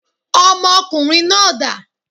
Ọmọ ọkùnrin náà dà?